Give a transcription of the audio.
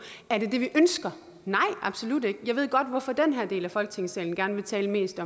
er det det vi ønsker nej absolut ikke jeg ved godt hvorfor den her del af folketingssalen gerne vil tale mest